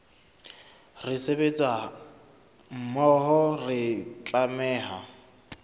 re sebetsa mmoho re tlameha